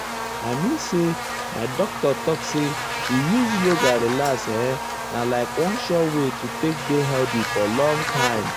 i mean say my doctor talk say to use use yoga relax erm na like one sure wey to take dey healthy for long time.